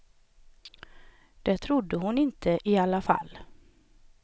Det trodde hon inte i alla fall.